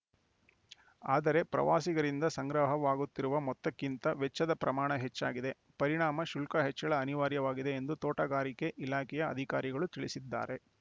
ಆದರೆ ಪ್ರವಾಸಿಗರಿಂದ ಸಂಗ್ರಹವಾಗುತ್ತಿರುವ ಮೊತ್ತಕ್ಕಿಂತ ವೆಚ್ಚದ ಪ್ರಮಾಣ ಹೆಚ್ಚಾಗಿದೆ ಪರಿಣಾಮ ಶುಲ್ಕ ಹೆಚ್ಚಳ ಅನಿವಾರ್ಯವಾಗಿದೆ ಎಂದು ತೋಟಗಾರಿಕೆ ಇಲಾಖೆಯ ಅಧಿಕಾರಿಗಳು ತಿಳಿಸಿದ್ದಾರೆ